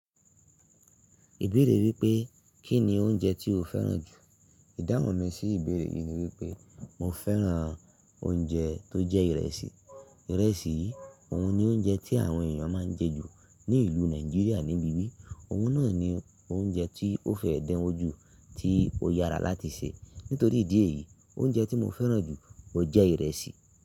Ìbéèrè wípé kínni oúnjẹ tí o fẹ́ràn jù? Idánwò mi sí ìbéèrè yìí ni wípé mo fẹ́ràn oúnjẹ tó jẹ́ ìrẹsì. Ìrẹsì yìí òun ni oúnjẹ tí àwọn ènìyàn máa ń jẹ jù ní ìlú Nàìjíríà níbi bi Òun náà ni oúnjẹ tí ó fẹ́ dán ojú, tí ó yára láti sè. Nítorí ìdí èyí oúnjẹ tí mo fẹ́ràn jù jẹ ìrẹsì.